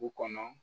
Du kɔnɔ